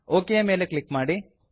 okay ಯ ಮೇಲೆ click ಮಾಡಿ